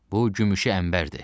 Bu gümüşü əmbərdir.